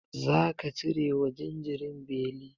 Zaka cire wa jinjirin beli?